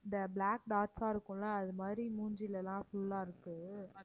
இந்த black dots ஆ இருக்கும் இல்ல அதுமாதிரி மூஞ்சிலலாம் full ஆ இருக்கு